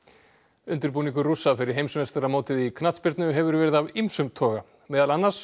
undirbúningur Rússa fyrir heimsmeistaramótið í knattspyrnu hefur verið af ýmsum toga meðal annars